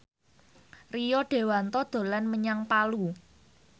Rio Dewanto dolan menyang Palu